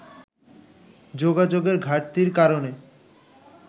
যোগাযোগের ঘাটতির কারণে